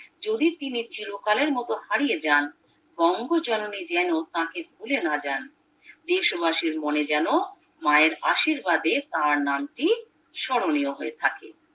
যদি তিনি চিরকালের মতো হারিয়ে যান বঙ্গজননী যেন তাকেভুলে না যান দেশবাসীর মনে যেন মায়ের আশীর্বাদে তার নামটি স্মরনীয় থাকে